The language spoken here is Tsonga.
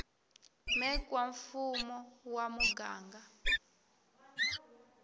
mec wa mfumo wa muganga